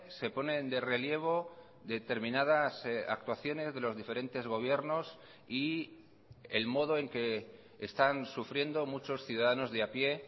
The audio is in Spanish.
se ponen de relievo determinadas actuaciones de los diferentes gobiernos y el modo en que están sufriendo muchos ciudadanos de a pie